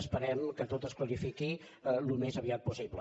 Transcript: esperem que tot es clarifiqui al més aviat possible